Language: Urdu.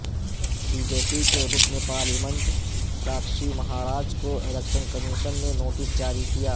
بی جے پی کے رکن پارلیمنٹ ساکشی مہاراج کو الیکشن کمیشن نے نوٹس جاری کیا